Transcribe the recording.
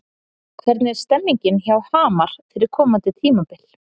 Hvernig er stemningin hjá Hamar fyrir komandi tímabil?